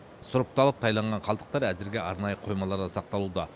сұрыпталып тайланған қалдықтар әзірге арнайы қоймаларда сақталуда